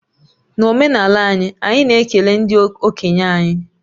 N'omenala anyị, anyị na-ekele ndị okenye anyị